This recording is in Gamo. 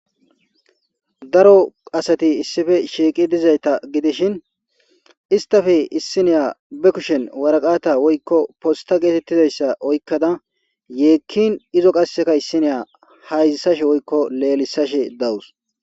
Daro asati issippe shiqidi gidizayta giddishin isstappe issinya be kushshen warqqata woyiko posta getetizayisa oyikkada yekkin izo qasekka issiniya lelisashe woyikko hayzisashe dawuse.